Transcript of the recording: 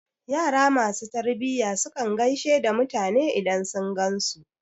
Yara ma su tarbiya su kan gaishe da mutane idan sun gan su.